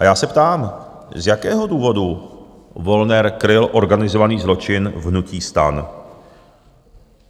A já se ptám: Z jakého důvodu Wollner kryl organizovaný zločin v hnutí STAN?